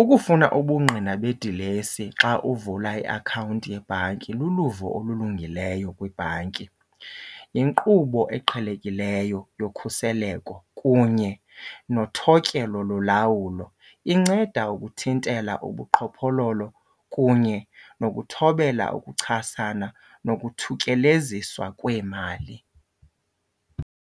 ukufuna ubungqina bedilesi xa uvula iakhawunti yebhanki luluvo olulungileyo kwibhanki. Yinkqubo eqhelekileyo yokhuseleko kunye nothotyelwa lolawulo, inceda ukuthintela ubuqhophololo kunye nokuthobela ukuchasana nokuthutyeleziswa kweemali.